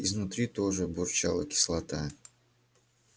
изнутри тоже бурчала кислота